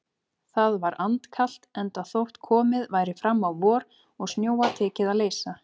Það var andkalt, enda þótt komið væri fram á vor og snjóa tekið að leysa.